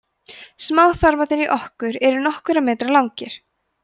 smáþarmarnir í okkur eru nokkurra metra langir